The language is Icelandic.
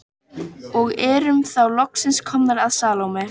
Og erum þá loksins komnar að Salóme.